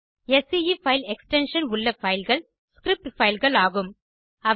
sce file extension உள்ள file கள் script fileகள் ஆகும்